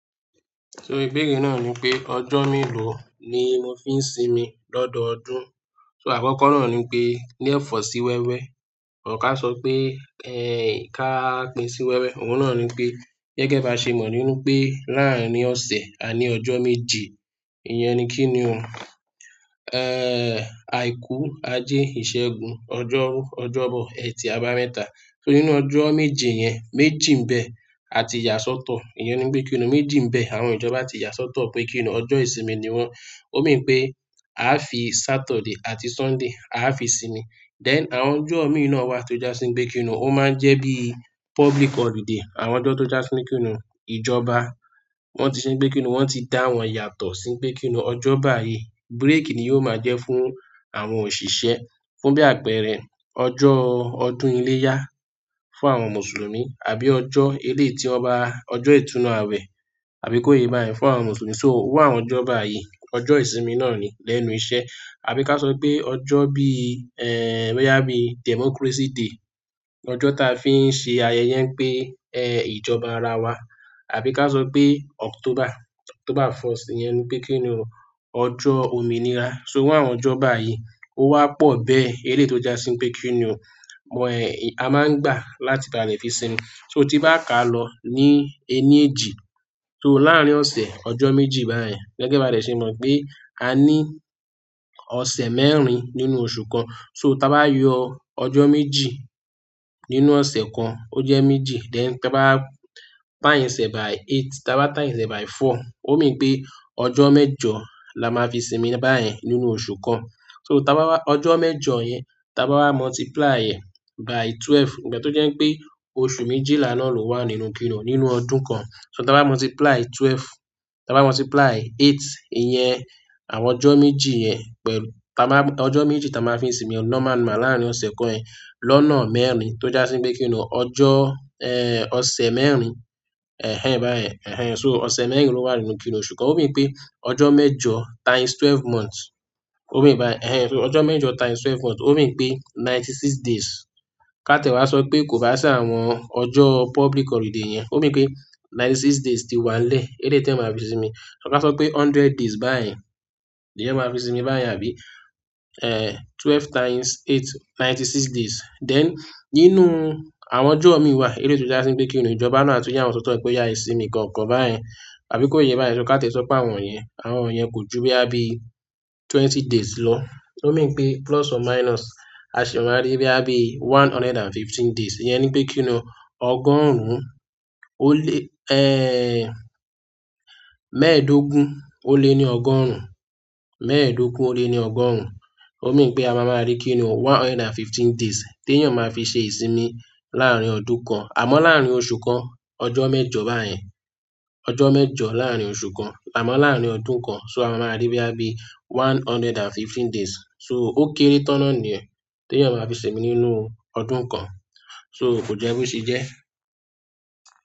Torí ìbéèrè na nipe, ojo melo ni mo fi n sinmi lododun. So àkọ́kọ́ náà ní pé ní ẹ̀fọ́ sí wẹ́wẹ́. Or ká sọ pé, "Ẹ̀ẹ́ ká pín sí wẹ́wẹ́." Òun náà ní pé, "Gẹ́gẹ́ bá ṣe mọ̀ nínú pé láàárín ọ̀sẹ̀ àní ọjọ́ méje. Ìyẹn ni kínni o. Ẹ́ẹ́ àìkú, ajé, ìṣẹ́gun, ọjọ́rú, ọjọ́bọ, ẹtì, àbámẹ́ta. So nínú ọjọ́ méje yẹn, méjì ń bẹ àti yàsọ́tọ. Ìyẹn ni pé kínní. Méjì ń bẹ àwọn ìjọba tí yàsọ́tọ pé kínní ọjọ́ ìsinmi ni wọ́n. Ó mí pé a fi Saturday àti Sunday a fi sinmi. Then àwọn ọjọ́ míì náà wa tó já sí pe kínní. Ó máa ń jẹ́ bíi public holiday. Àwọn ọjọ́ tó já sí kínní, ìjọba wọ́n ti se nipe kínní. Wọ́n ti dá wọn yàtọ̀ sí pe kínní ọjọ́ báyìí. Break ni yóò máa jẹ́ fún àwọn òṣìṣẹ́ fún bí àpẹẹrẹ ọjọ́ ọdún iléyá fún àwọn Mùsùlùmí àbí ọjọ́ elééti ọba, ọjọ́ ìtúnnu àwẹ̀ àbí kó yé bá yẹn fún àwọn Mùsùlùmí. So iru àwọn ọjọ́ bayi, ọjọ́ ìsinmi náà ni lẹ́nu iṣẹ́. Àbí ká sọ pé ọjọ́ bí i, ẹ́ẹ́ bóyá bí i Democracy Day. Ọjọ́ ta fi ń ṣe ayẹyẹ pé ẹ́ẹ́ ìjọba ara wa. Àbí ká sọ pé October, October first yẹn ni pé kínníhun ọjọ́ òmìnira. So iru àwọn ọjọ́ báyìí ó wá pọ̀ bẹ́ẹ̀ eléyi tó já sí pe kínní oo. A máa ń gbà láti báa le fi sinmi. So tí n bá ká lọ ní ẹni èjì, so láàárín ọ̀sẹ̀ ọjọ́ méjì báyìí. Gẹ́gẹ́ bá de ṣe mọ̀ pé a ní ọ̀sẹ̀ mẹ́rin nínú oṣù kan. So táa bá yọ ọjọ́ méjì nínú ọ̀sẹ̀ kan ó jẹ́ méjì. Then táa bá times e by eight, táa bá times e by four. Ó mí pé ọjọ́ mẹ́jọ la máa fi sinmi báyìí nínú oṣù kan. So táa bá wa ọjọ́ mẹ́jọ yẹn, táa bá wa multiply e by twelve. Ìgbà tó jẹ́ pé oṣù méjìlá náà ló wà nínú kínni o nínú ọdún kan. So táa bá multiply twelve, táa bá multiply eight, ìyẹn àwọn ọjọ́ méjì yẹn pẹ̀lú táa má, ọjọ́ méjì táa máa fi sinmi lọ́ máa wa lárín ọ̀sẹ̀ kan ẹ́ lọ́nà mẹ́rin tó já sí pe kínní oo ọjọ́, ẹ́ẹ́ ọ̀sẹ̀ mẹ́rin. Àbí ká sọ pé October, October first iyẹn ni pé kínni o, ọjọ́ òmìnira. So iru àwọn ọjọ́ báyìí ó wá pọ̀ bẹ́ẹ̀ eléyi tó já si pe kínní oo, a máa ń gbà láti báa le fi sinmi. So tí n bá ká lọ ní ẹni èjì, ó mí báyen, ẹ̀hẹn so ọjọ́ mẹ́jọ times twelve months. Ó mí pé ninety six days. Ka ti e wá sọ pé kò bá sì àwọn ọjo public holiday yẹn. Ó mí pé ninety six days ti wà n lẹ́ẹ́. Eleyi ti ryan máa fi sinmi. Ra ba sọ pé hundred days bayen ni ẹyan máa fi sinmi báyen àbí. Ẹ́ẹ́ twelve times eight, ninety six days. Then nínú àwọn ọjọ́ mí wà eleyi tó já sí oe kínní ìjọba maà tun ya wọ́n sọ́tọ̀ pé oyá e sinmi nkankan báyen àbí kó yé báyẹn. So ká ti e sọ pe àwọn yẹn. Àwọn yẹn kò ju boya bi twenty days lọ. So o mí pé plus or minus a sì máa rí bí i one hundred and fifteen days. Ìyẹn ni pé kínní oo, ọgọ́rùn ún ó lé, ẹ́ẹ́ mẹ́ẹ̀ẹ́dógún ó lé ni ọgọ́rùn ún. Mẹ́ẹ̀ẹ́dógún ó lé ni ọgọ́rùn ún. Ó wi mí pé a máa máa rí kí í ni one hundred and fifteen days tí èèyàn máa fi ṣe ìsinmi láàárín ọdún kan. Àmọ́ láàárín oṣù kan ọjọ́ mẹ́jọ báyen. Ọjọ́ mẹ́jọ láàárín oṣù kan. Àmọ́ láàárín ọdún kan so a máa máa rí bí i ẹ́ẹ́ one hundred and fifteen days. So ó kéré tán náà ni yen tí èèyàn máa fi sinmi nínú ọdún kan. So kò jẹ́ bo se jẹ́.